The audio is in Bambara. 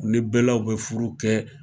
U ni bɛlaw bɛ furu kɛ.